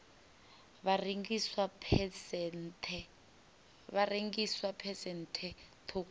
ha rengiswa phesenthe ṱhukhu ya